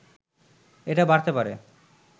এটা বাড়তে পারে